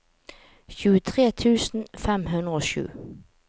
tjuetre tusen fem hundre og sju